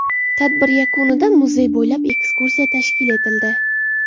Tadbir yakunida muzey bo‘ylab ekskursiya tashkil etildi.